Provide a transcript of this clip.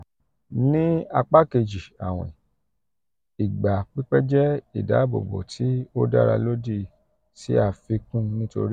ni apa keji awin igba pipẹ jẹ idabobo ti o dara lodi si afikun nitori